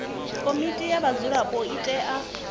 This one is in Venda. komiti ya vhadzulapo i tea